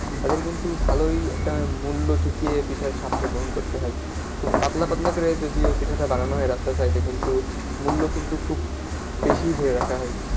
তাদের কিন্তু ভালোই একটা মূল্য চুকিয়ে পিঠার স্বাদটা গ্রহণ করতে হয়। খুব পাতলা পাতলা করে যদিও পিঠাটা বানানো হয় রাস্তার side এ কিন্তু মূল্য কিন্তু খুব বেশিই ধরে রাখা হয়।